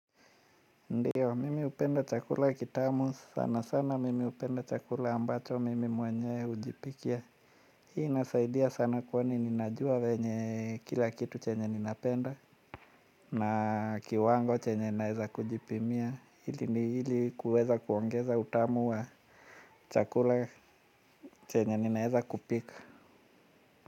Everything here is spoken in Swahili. Ndiyo mimi hupenda chakula kitamu sana sana mimi hupenda chakula ambacho mimi mwenye hujipikia. Hii inasaidia sana kwani ninajua venye kila kitu chenye ninapenda. Na kiwango chenye naweza kujipimia ili kuweza kuongeza utamu wa chakula chenye ninaweza kupika.